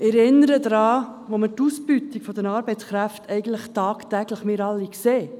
Ich erinnere daran, dass wir die Ausbeutung der Arbeitskräfte tagtäglich sehen.